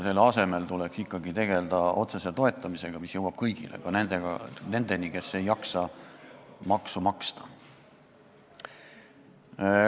Selle asemel tuleks ikkagi tegelda otsese toetamisega, mis jõuab kõigini, ka nendeni, kes ei jaksa maksu maksta.